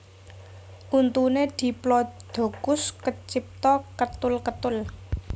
Untuné diplodocus kecipta ketul ketul